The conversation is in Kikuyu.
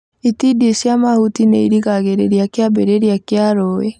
itindiĩ cia mahuti nĩirigagĩrĩria kĩambĩrĩria kĩa rũĩ.